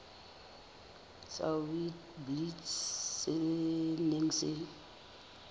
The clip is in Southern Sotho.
sa witblits se neng se